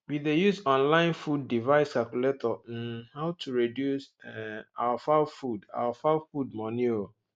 we dey use online food device calculator um how to reduce um our fowl food our fowl food money um